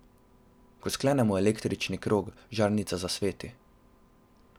Ko sklenemo električni krog, žarnica zasveti.